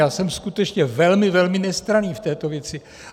Já jsem skutečně velmi, velmi nestranný v této věci.